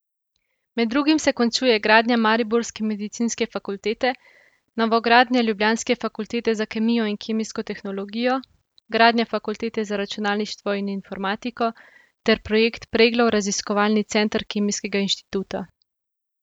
Med drugim se končuje gradnja mariborske medicinske fakultete, novogradnja ljubljanske fakultete za kemijo in kemijsko tehnologijo, gradnja fakultete za računalništvo in informatiko ter projekt Preglov raziskovalni center Kemijskega inštituta.